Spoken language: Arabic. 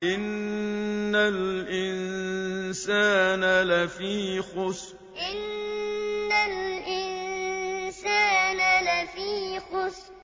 إِنَّ الْإِنسَانَ لَفِي خُسْرٍ إِنَّ الْإِنسَانَ لَفِي خُسْرٍ